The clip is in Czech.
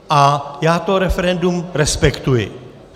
A já to referendum respektuji.